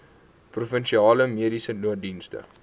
provinsiale mediese nooddienste